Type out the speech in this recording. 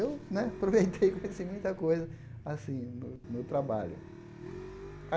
E eu né aproveitei e conheci muita coisa assim no no trabalho.